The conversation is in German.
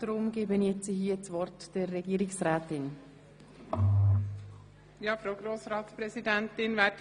Somit hat Frau Regierungsrätin Egger das Wort.